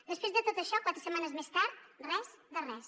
després de tot això quatre setmanes més tard res de res